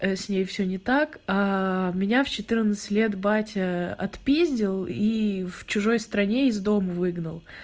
с ней всё не так меня в четырнадцать лет батя отпиздил и в чужой стране из дома выгнал